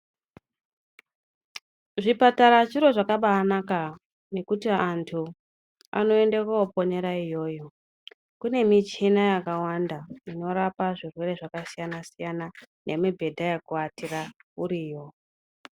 Zvipatara chiro zvakabaanaka nekuti antu anoenda kooponera iyoyo. Kune michina yakawanda, inorapa zvirwere zvakasiyana-siyana nemibhedha yekuatira uriyo.